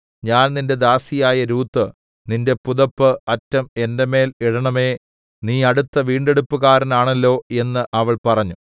ഞാൻ നിന്റെ ദാസിയായ രൂത്ത് നിന്റെ പുതപ്പ് അറ്റം എന്റെ മേൽ ഇടേണമേ നീ അടുത്ത വീണ്ടെടുപ്പുകാരനാണല്ലോ എന്ന് അവൾ പറഞ്ഞു